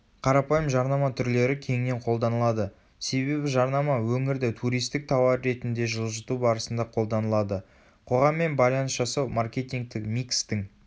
қарапайым жарнама түрлері кеңінен қолданылады себебі жарнама өңірді туристік тауар ретінде жылжыту барысында қолданылады қоғаммен байланыс жасау маркетингтік микстің